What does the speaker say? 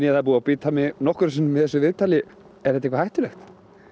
það er búið að bíta mig nokkrum sinnum í þessu viðtali er þetta eitthvað hættulegt